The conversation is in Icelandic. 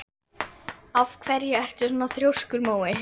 Af hverju ertu svona þrjóskur, Mói?